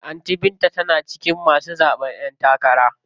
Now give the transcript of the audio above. Anty binta tana cikin masu zaɓen ƴen takara.